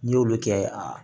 N'i y'olu kɛ a